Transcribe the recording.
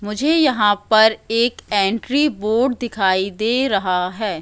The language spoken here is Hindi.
मुझे यहां पर एक एंट्री बोर्ड दिखाई दे रहा है।